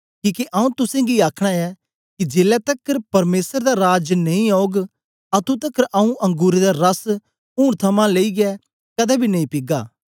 किके आऊँ तुसेंगी आखना ऐं कि जेलै तकर परमेसर दा राज नेई औग अतुं तकर आऊँ अंगुरें दा रस हुन थमां लेईयै कदें बी नेई पीगा